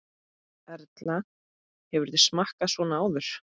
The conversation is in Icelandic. Erla: Hefurðu smakkað svona áður?